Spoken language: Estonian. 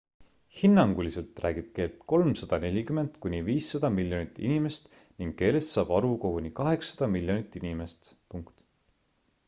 hinnanguliselt räägib keelt 340 kuni 500 miljonit inimest ning keelest saab aru koguni 800 miljonit inimest